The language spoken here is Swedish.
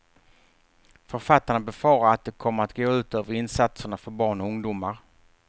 Författarna befarar att det kommer att gå ut över insatserna för barn och ungdomar.